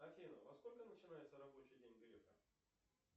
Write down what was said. афина во сколько начинается рабочий день грефа